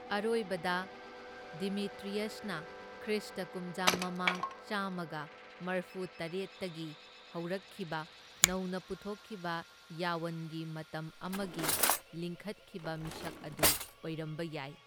ꯑꯔꯣꯏꯕꯗ, ꯗꯃꯤꯇ꯭ꯔꯤꯌꯁꯅ ꯈ꯭ꯔꯤꯁꯇ ꯀꯨꯝꯖꯥ ꯃꯃꯥꯡ ꯆꯥꯝꯃꯒ ꯃꯔꯐꯨꯇꯔꯦꯠꯇꯒꯤ ꯍꯧꯔꯛꯈꯤꯕ ꯅꯧꯅ ꯄꯨꯊꯣꯛꯈꯤꯕ ꯌꯋꯟꯒꯤ ꯃꯇꯝ ꯑꯃꯒꯤ ꯂꯤꯡꯈꯠꯈꯤꯕ ꯃꯤꯁꯛ ꯑꯗꯨ ꯑꯣꯏꯔꯝꯕ ꯌꯥꯏ꯫